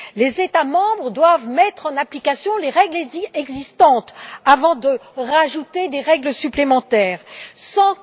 Les États membres doivent mettre en application les règles existantes avant d'en ajouter d'autres.